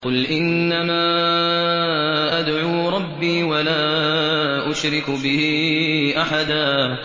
قُلْ إِنَّمَا أَدْعُو رَبِّي وَلَا أُشْرِكُ بِهِ أَحَدًا